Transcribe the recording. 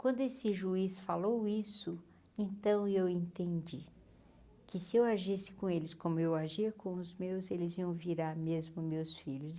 Quando esse juiz falou isso, então eu entendi que se eu agisse com eles, como eu agia com os meus, eles iam virar mesmo meus filhos.